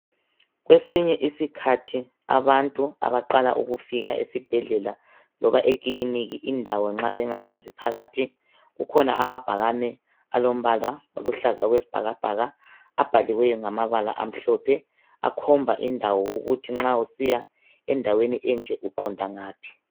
kwesinye isikhathi abantu abaqala ukufika esibhedlela loba ekiliniki indawo nxa bengayazi phakathi akhona amabhakane alombala oluhlaza okwesibhakabhaka abhaliweyo ngamabala amhlophe akhomba indawo ukuthi nxa usiya endaweni enje uqonda ngaphi